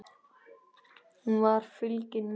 Hún var fylgin sér.